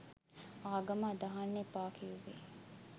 ආගම අදහන්න එපා කිවුවෙ